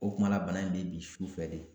O kumana bana in bɛ i bin sufɛ de